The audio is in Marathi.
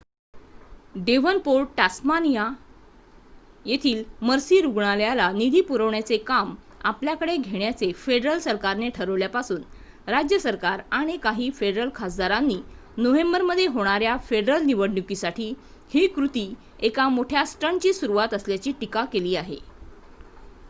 डेव्हनपोर्ट टास्मानिया येथील मर्सी रुग्णालयाlला निधी पुरवण्याचे काम आपल्याकडे घेण्याचे फेडरल सरकारने ठरवल्यापासून राज्य सरकार आणि काही फेडरल खासदारांनी नोव्हेंबरमध्ये होणाऱ्या फेडरल निवडणुकीसाठी ही कृती एका मोठ्या स्टंटची सुरुवात असल्याची टीका केली आहे